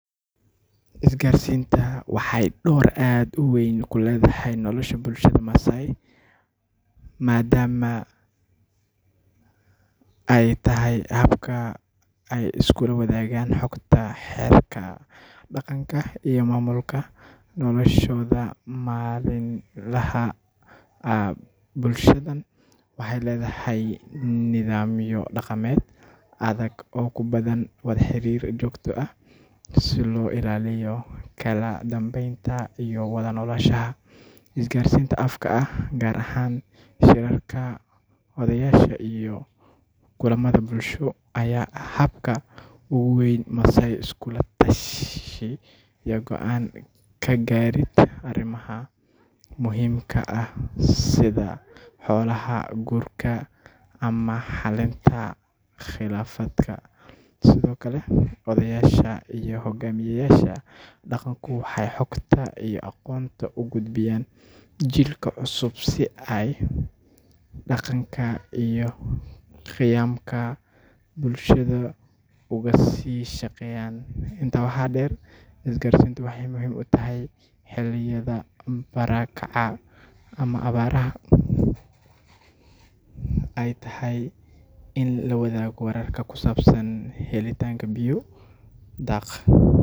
Isgaarsiintu waxay door aad u weyn ku leedahay nolosha bulshada Maasai maadaama ay tahay habka ay iskula wadaagaan xogta, xeerarka dhaqanka, iyo maamulka noloshooda maalinlaha ah. Bulshadan waxay leedahay nidaamyo dhaqameed adag oo u baahan wada xiriir joogto ah si loo ilaaliyo kala dambeynta iyo wada noolaanshaha. Isgaarsiinta afka ah, gaar ahaan shirarka odayaasha iyo kulamada bulsho, ayaa ah habka ugu weyn ee Maasai iskula tashi iyo go’aan ka gaarid arrimaha muhiimka ah sida xoolaha, guurka, ama xalinta khilaafaadka. Sidoo kale, odayaasha iyo hoggaamiyeyaasha dhaqanku waxay xogta iyo aqoonta u gudbiyaan jiilka cusub si ay dhaqanka iyo qiyamka bulshada uga sii shaqeeyaan. Intaa waxaa dheer, isgaarsiintu waxay muhiim u tahay xilliyada barakaca ama abaaraha marka ay tahay in la wadaago wararka ku saabsan helitaanka biyo, daaq.